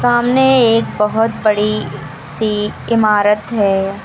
सामने एक बहोत बड़ी सी इमारत है।